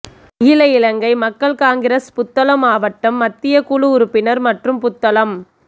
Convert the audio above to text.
அகில இலங்கை மக்கள் காங்கிரஸ் புத்தளம் மாவட்ட மத்திய குழு உறுப்பினர் மற்றும் புத்தளம்